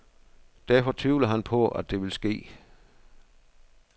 Derfor tvivler han på, at det vil ske.